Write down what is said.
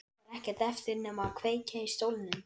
Nú var ekkert eftir nema að kveikja í stólnum.